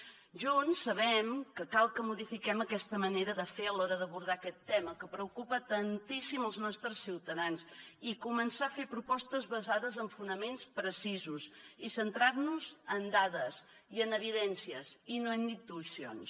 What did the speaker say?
junts sabem que cal que modifiquem aquesta manera de fer a l’hora d’abordar aquest tema que preocupa tantíssim els nostres ciutadans i començar a fer propostes basades en fonaments precisos i centrant nos en dades i en evidències i no en intuïcions